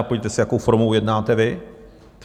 A podívejte se, jakou formou jednáte vy?